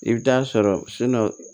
I bɛ taa sɔrɔ